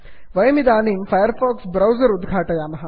वयमिदानीं Firefox browser उद्घाटयामः